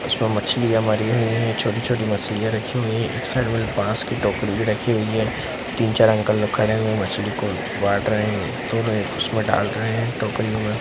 उसमें मछलियां मरी हुई है छोटी-छोटी मछलियां रखी हुई है एक साइड में बांस की टोकरी भी रखी हुई है तीन-चार अंकल लोग खड़े हुए मछली को बाट रहे है तो वे उसमें डाल रहे है टोकरी में।